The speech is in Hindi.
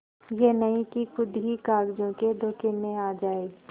यह नहीं कि खुद ही कागजों के धोखे में आ जाए